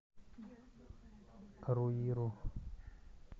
руиру